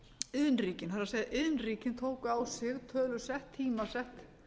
iðnríkin það er iðnríkin tóku á sig tölusett tímasett